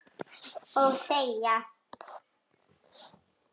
Og þegja.